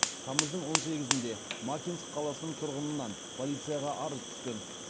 тамыздың он сегізінде макинск қаласының тұрғынынан полицияға арыз түскен